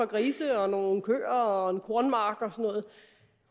grise og nogle køer og en kornmark og noget